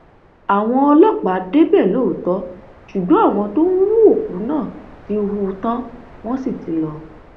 àwọn ọlọpàá débẹ lóòótọ ṣùgbọn àwọn tó ń hu òkú náà ti hù ú tán wọn sì ti lọ